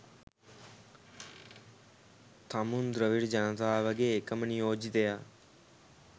තමුන් ද්‍රවිඩ ජනතාවගේ එකම නියෝජිතයා